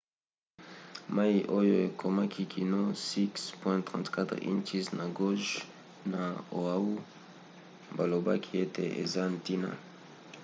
mai oyo ekomaki kino 6,34 inches na gauge na oahu balobaki ete eza ntina